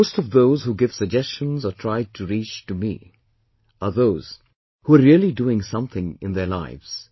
Most of those who give suggestions or try to reach to me are those who are really doing something in their lives